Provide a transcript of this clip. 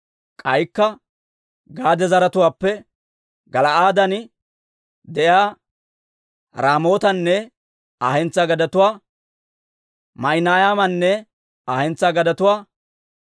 K'aykka Gaade zaratuwaappe Gala'aaden de'iyaa Raamootanne Aa hentsaa gadetuwaa, Maahinaymanne Aa hentsaa gadetuwaa,